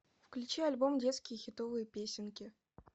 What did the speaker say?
включи альбом детские хитовые песенки